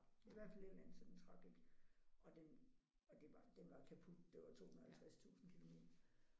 I hvert fald et eller andet så den trak ikke og den og det var den var kaput det var 250000 kilomil